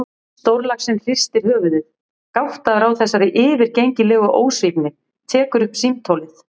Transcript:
Stórlaxinn hristir höfuðið, gáttaður á þessari yfirgengilegu ósvífni, tekur upp símtólið.